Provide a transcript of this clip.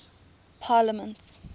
parliaments